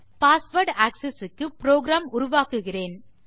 password access க்கு program உருவாக்குகிறேன்